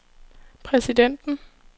præsidenten